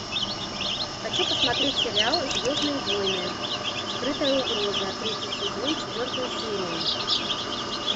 хочу посмотреть сериал звездные войны скрытая угроза третий сезон четвертую серию